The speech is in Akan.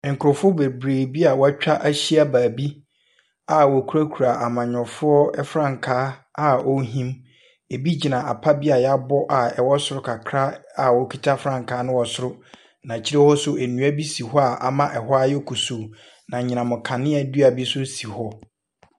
Nkurɔfoɔ bebree bi a wɔatwa ahyia baabi a wɔkurakura amanyɛfoɔ frankaa a wɔrehim. Ɛbi gyina apa bi a wɔabɔ a ɛwɔ soro kakra a wɔkita frankaa no wɔ soro, na akyire hɔ nso nnua bi si hɔ a ama ɛhɔ ayɛ kusuu. Na anyinam nkanea dua bi nso si hɔ.